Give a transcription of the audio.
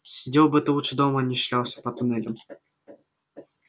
сидел бы ты лучше дома а не шлялся по туннелям